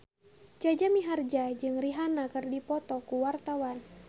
Jaja Mihardja jeung Rihanna keur dipoto ku wartawan